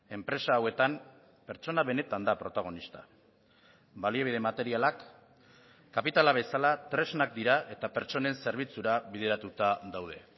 enpresa hauetan pertsona benetan da protagonista baliabide materialak kapitala bezala tresnak dira eta pertsonen zerbitzura bideratuta daude